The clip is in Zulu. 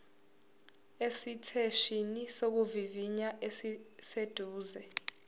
esiteshini sokuvivinya esiseduze